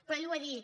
però ell ho ha dit